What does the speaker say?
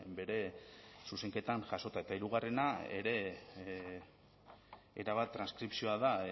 bere zuzenketan jasota eta hirugarrena ere erabat transkripzioa da